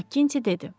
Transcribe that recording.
Makkinti dedi.